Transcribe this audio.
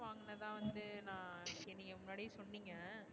என்ன தான் வந்து நா, சரி நீங்க முன்னாடியே சொன்னிங்க